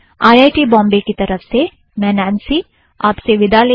IIT Bombay की तरफ़ से मैं नॆन्सी आप से विदा लेती हूँ